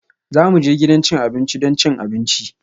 Za mu je gidan cin abinci don cin abinci